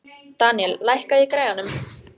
Daníel, lækkaðu í græjunum.